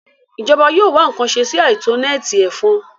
Ìjọba yóò wá ǹkan ṣe sí àìtó nẹ́ẹ̀tì ẹ̀fọn